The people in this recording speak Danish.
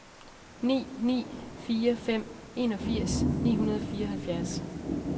ni ni fire fem enogfirs ni hundrede og fireoghalvfjerds